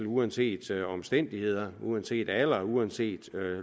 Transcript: uanset omstændigheder uanset alder uanset